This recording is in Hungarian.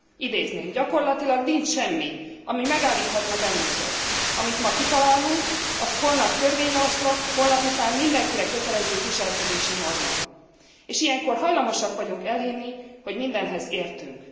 Idézném Gyakorlatilag nincs semmi, ami megállíthatna bennünket, amit ma kitalálunk, az holnap törvényjavaslat, holnapután mindenkire kötelező viselkedési norma, és ilyenkor hajlamosak vagyunk elhinni, hogy mindenhez értünk.